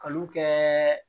Kanu kɛ